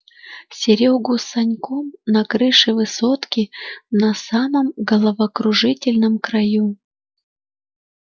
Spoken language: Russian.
серёгу с саньком на крыше высотки на самом головокружительном краю